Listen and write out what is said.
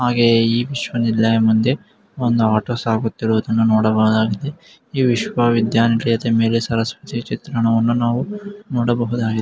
ಆಗೇ ಈ ವಿಶ್ವವಿದ್ಯಾನಿಲಯದ ಮುಂದೆ ಒಂದು ಆಟೋ ಸಾಗುತ್ತಿರುವುದನ್ನು ನೋಡಬಹುದಾಗಿದೆ. ಈ ವಿಶ್ವವಿದ್ಯಾನಿಲಯದ ಮೇಲೆ ಸರಸ್ವತಿ ಚಿತ್ರಣವನ್ನು ನಾವು ನೋಡಬಹುದಾಗಿದೆ.